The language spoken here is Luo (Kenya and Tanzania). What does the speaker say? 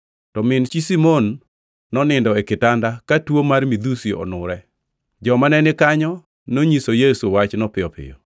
To min chi Simon nonindo e kitanda, ka tuo mar midhusi onure. Joma nenikanyo nonyiso Yesu wachno piyo piyo.